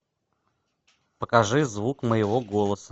покажи звук моего голоса